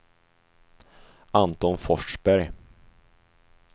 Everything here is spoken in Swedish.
Anton Forsberg